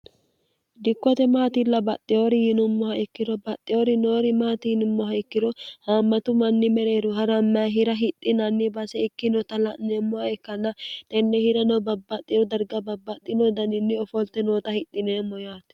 dikkote maatilla baxxiyoori yinummoha ikkiro baxxiyoori noori maati yinummoha ikkiro haammatu manni mereeru ha'ramma hira hidhinanni base ikkino ta la'neemmoha ikkanna tenne hirano babbaxxiro darga babbaxxino daniinni ofolte nooxa hidhineemmo yaate